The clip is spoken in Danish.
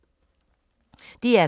DR K